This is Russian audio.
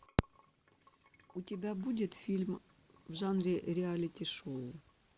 у тебя будет фильм в жанре реалити шоу